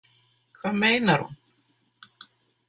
Hvað meinar hún?